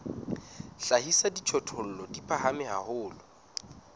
hlahisa dijothollo di phahame haholo